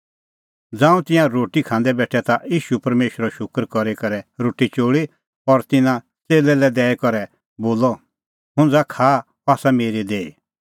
ज़ांऊं तिंयां रोटी खांदै बेठै ता ईशू परमेशरो शूकर करी करै रोटी चोल़ी और तिन्नां च़ेल्लै लै दैई करै बोलअ हुंज़ा खाआ अह आसा मेरी देही